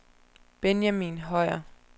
Benjamin Høyer